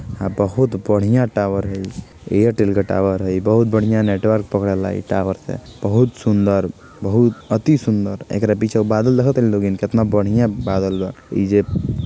आ बहुत बढ़िया टावर है ई। ऐयरटेल का टावर है ई बहुत बड़िया नेटवर्क पकडेला ई टावर से। बहुत सुंदर बहुत अती सुंदर एकरा पीछे वो बादल देखतानी लोगिन केतना बढ़ीया बादल बा इजे--